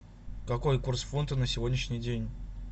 какой курс фунта на сегодняшний день